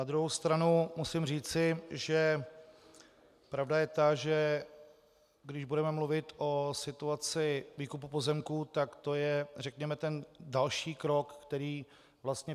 Na druhou stranu musím říci, že pravda je ta, že když budeme mluvit o situaci výkupu pozemků, tak to je řekněme ten další krok, který vlastně...